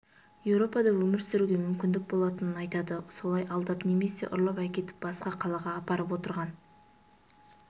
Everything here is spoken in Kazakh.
еуропада өмір сүруге мүмкіндік болатынын айтады солай алдап немесе ұрлап әкетіп басқа қалаға апарып отырған